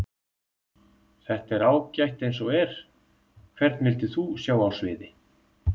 Þetta er ágætt eins og er Hvern vildir þú sjá á sviði?